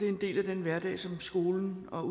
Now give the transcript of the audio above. en del af den hverdag som skolen og